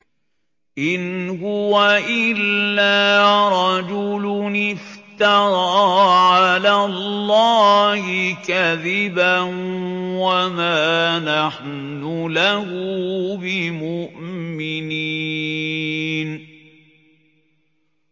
إِنْ هُوَ إِلَّا رَجُلٌ افْتَرَىٰ عَلَى اللَّهِ كَذِبًا وَمَا نَحْنُ لَهُ بِمُؤْمِنِينَ